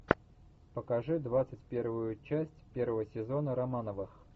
покажи двадцать первую часть первого сезона романовых